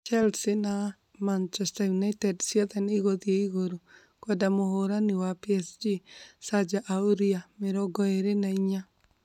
Chelsea na Machester United ciothe nĩkũthii igũru kwenda mũhũrani wa PSG Serge Aurier ,24.